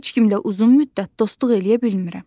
Heç kimlə uzun müddət dostluq eləyə bilmirəm.